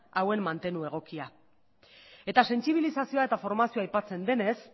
hauen mantenu egokia eta sentsibilizazioa eta formazioa aipatzen denez